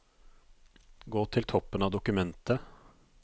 Gå til toppen av dokumentet